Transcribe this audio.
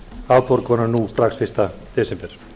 afborgunum nú strax fyrsta desember